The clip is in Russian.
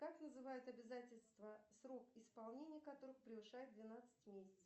как называют обязательства срок исполнения которых превышает двенадцать месяцев